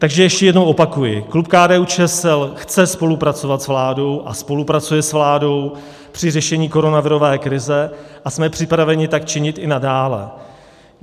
Takže ještě jednou opakuji, klub KDU-ČSL chce spolupracovat s vládou a spolupracuje s vládou při řešení koronavirové krize a jsme připraveni tak činit i nadále.